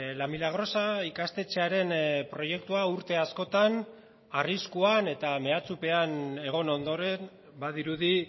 la milagrosa ikastetxearen proiektua urte askotan arriskuan eta mehatxupean egon ondoren badirudi